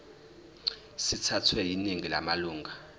sithathwe yiningi lamalunga